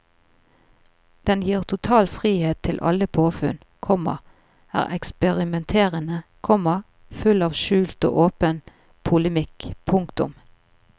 Den gir total frihet til alle påfunn, komma er eksperimenterende, komma full av skjult og åpen polemikk. punktum